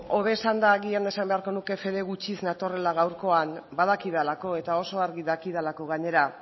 hobe esanda agian esan beharko nuke fede gutxiz natorrela gaurkoan badakidalako eta oso argi dakidalako gainera